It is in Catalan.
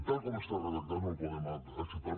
tal com està redactat no el podem acceptar